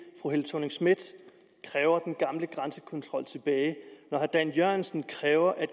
fru helle thorning schmidt kræver den gamle grænsekontrol tilbage og herre dan jørgensen kræver at